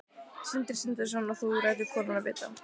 Sindri Sindrason: og þú lætur konuna vinna?